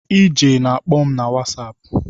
Ije na-akpọ m na whasapụ